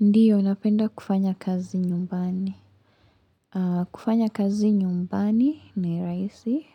Ndiyo napenda kufanya kazi nyumbani aah. Kufanya kazi nyumbani ni rahisi